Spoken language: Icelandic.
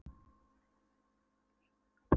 og leir, brennisteini og gifsi við gufu- og leirhveri.